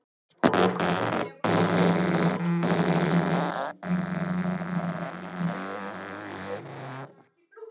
Hvað hafði strákasninn annars verið að þvælast þarna?